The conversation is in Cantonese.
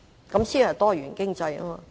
這才是多元經濟。